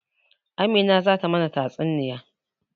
Amina ce zata mana tatsuniya.